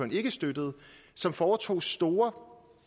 ikke støttede og som foretog store